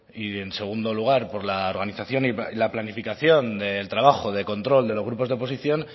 y en segundo lugar por la organización y la planificación del trabajo de control de los grupos de oposición